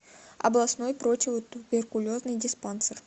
областной противотуберкулезный диспансер